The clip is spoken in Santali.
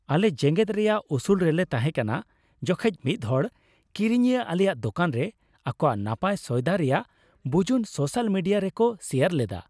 ᱟᱞᱮ ᱡᱮᱜᱮᱫ ᱨᱮᱭᱟᱜ ᱩᱥᱩᱞ ᱨᱮᱞᱮ ᱛᱟᱦᱮᱸ ᱠᱟᱱᱟ ᱡᱚᱠᱷᱮᱡ ᱢᱤᱫ ᱦᱚᱲ ᱠᱤᱨᱤᱧᱤᱭᱟᱹ ᱟᱞᱮᱭᱟᱜ ᱫᱚᱠᱟᱱ ᱨᱮ ᱟᱠᱚᱣᱟᱜ ᱱᱟᱯᱟᱭ ᱥᱚᱭᱫᱟ ᱨᱮᱭᱟᱜ ᱵᱩᱡᱩᱱ ᱥᱳᱥᱟᱞ ᱢᱤᱰᱤᱭᱟ ᱨᱮ ᱠᱚ ᱥᱮᱭᱟᱨ ᱞᱮᱫᱟ ᱾